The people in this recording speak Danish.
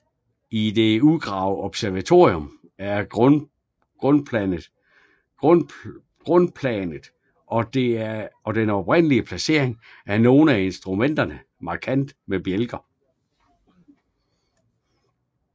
I det udgravede observatorium er grundplanet og den oprindelige placering af nogle af instrumenterne markeret med bjælker